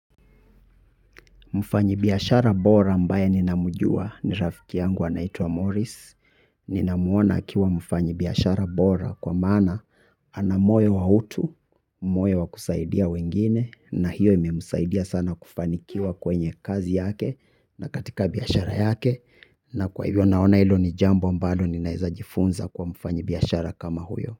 Mfanyibiyashara bora ambaye ninamjua ni rafiki yangu anaitwa Morris. Ninamuona akiwa mfanyibiashara bora kwa maana ana moyo wa utu, moyo wa kusaidia wengine na hiyo imemsaidia sana kufanikiwa kwenye kazi yake na katika biashara yake na kwa hivyo naona ilo ni jambo ambalo ninaeza jifunza kwa mfanyibiashara kama huyo.